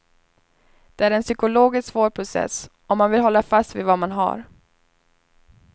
Det är en psykologiskt svår process och man vill hålla fast vid vad man har.